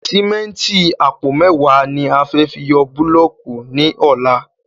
Sìméntì àpò mẹ́ẹ̀wá ni a fẹ́ fi yọ búlọ̀kì ní ọlá